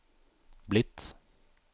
blitt